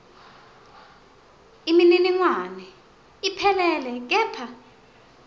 imininingwane iphelele kepha